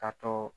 Ka to